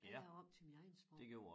Jeg lavede om til mit eget sprog